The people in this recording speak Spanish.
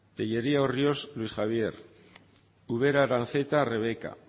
tellería orriols luis javier ubera aranzeta rebeka